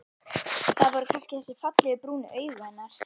Það voru kannski þessi fallegu, brúnu augu hennar.